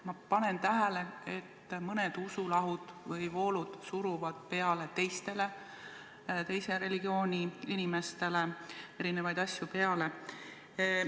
Ma panen tähele, et mõned usulahud või -voolud suruvad teistele, teise religiooni inimestele erinevaid asju peale.